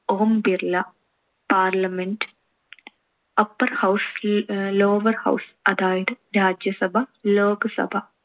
Om Birla. parliament upper house, lower house. അതായത് രാജ്യസഭ, ലോകസഭ.